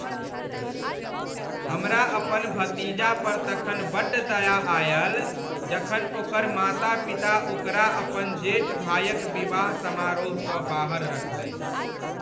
हमरा अपन भतीजा पर तखन बड्ड दया आयल जखन ओकर माता पिता ओकरा अपन जेठ भायक विवाह समारोहसँ बाहर रखलनि।